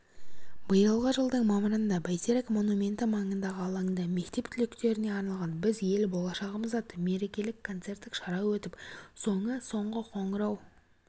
биылғы жылдың мамырында бәйтерек монументі маңындағы алаңда мектеп түлектеріне арналған біз ел болашағымыз атты мерекелік концерттік шара өтіп соңы соңғы қоңырау